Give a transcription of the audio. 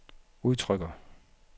udtrykker